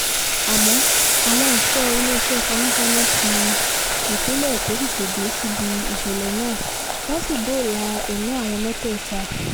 àmọ́ àwọn ẹ̀ṣọ́ iléeṣẹ́ panápaná tí ìpínlẹ̀ èkó tètè dé síbi ìṣẹ̀lẹ̀ náà wọ́n sì dóòlà ẹ̀mí àwọn mẹ́tẹ̀ẹ̀ta